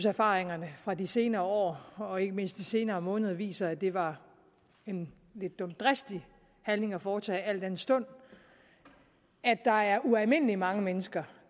erfaringerne fra de senere år og ikke mindst de senere måneder viser at det var en lidt dumdristig handling at foretage al den stund at der er ualmindelig mange mennesker